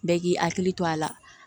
Bɛɛ k'i hakili to a la